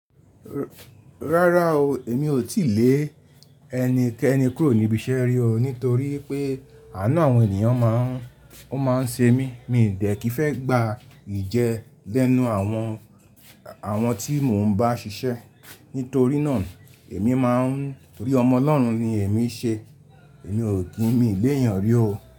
Rárá o, èmi ò tí lè ẹni kẹni kúrò níbi iṣẹ́ rí o nítorí pé ànu àwọn ènìyàn máà ń, ó máa ń ṣe mí. Mi ò dẹ́ ki fẹ́ gba ìjẹ lẹ́nu àwọn, àwọn tí mò ń bá ṣiṣẹ́. Nítorí náà èmi máa ń torí Ọmọ olọ́run ni èmi ṣe, èmi ò kí mi lé èèyàn rí o.